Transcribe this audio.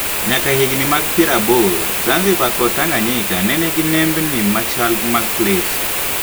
Nyaka higni mag piero aboro Zanziba kod Tanganyika ne nenigi nembni machal mag plets